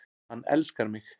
Hann elskar mig